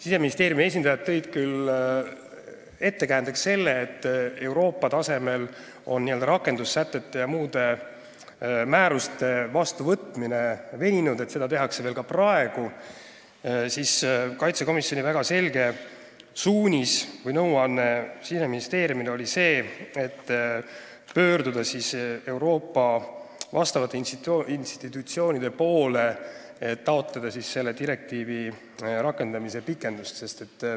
Siseministeeriumi esindajad tõid küll ettekäändeks selle, et Euroopa tasemel on rakendussätete ja muude määruste vastuvõtmine veninud, seda tehakse veel praegugi, aga riigikaitsekomisjoni väga selge suunis või nõuanne Siseministeeriumile oli pöörduda vastavate Euroopa institutsioonide poole, et taotleda selle direktiivi rakendamise pikendust.